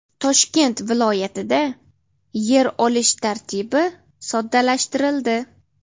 Toshkent viloyatida yer olish tartibi soddalashtirildi.